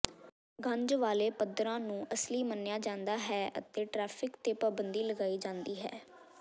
ਗੰਜ ਵਾਲ਼ੇ ਪੱਥਰਾਂ ਨੂੰ ਅਸਲੀ ਮੰਨਿਆ ਜਾਂਦਾ ਹੈ ਅਤੇ ਟ੍ਰੈਫਿਕ ਤੇ ਪਾਬੰਦੀ ਲਗਾਈ ਜਾਂਦੀ ਹੈ